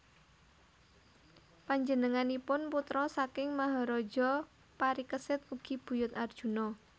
Panjenenganipun putra saking Maharaja Parikesit ugi buyut Arjuna